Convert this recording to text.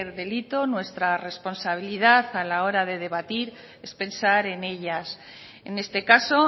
delito nuestra responsabilidad a la hora de debatir es pensar en ellas en este caso